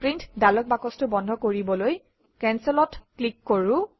print dialog বাকচটো বন্ধ কৰিবলৈ Cancel অত ক্লিক কৰোঁ